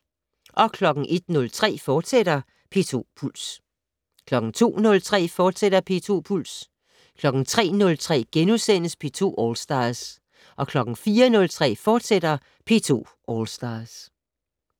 02:03: P2 Puls, fortsat 03:03: P2 All Stars * 04:03: P2 All Stars, fortsat